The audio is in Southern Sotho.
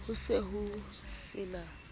ho se ho se na